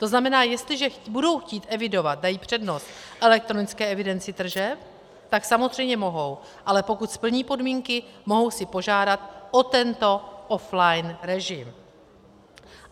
To znamená, jestliže budou chtít evidovat, dají přednost elektronické evidenci tržeb, tak samozřejmě mohou, ale pokud splní podmínky, mohou si požádat o tento off-line režim.